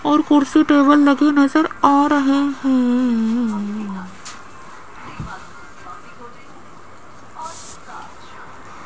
और कुर्सी टेबल लगे नज़र आ रहे हैं।